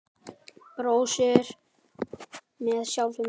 Brosir með sjálfri sér.